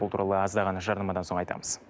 бұл туралы аздаған жарнамадан соң айтамыз